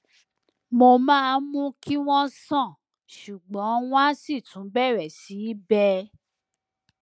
mo máa ń mú kí wọn sàn ṣùgbọn wọn á sì tún bẹrẹ sí í bẹ